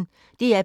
DR P1